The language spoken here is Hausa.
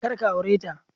Kar ka aure ta